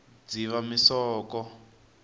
dzivamisoko